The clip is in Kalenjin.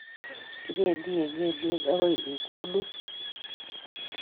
kibendi eng kelyek akoi ikulut